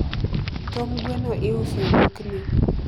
tong` gweno iuso e dukni